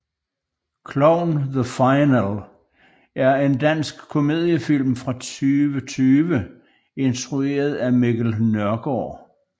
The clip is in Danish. Klovn The Final er en dansk komediefilm fra 2020 instrueret af Mikkel Nørgaard